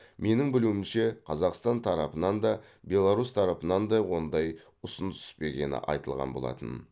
менің білуімше қазақстан тарапынан да беларусь тарапынан да ондай ұсыныс түспегені айтылған болатын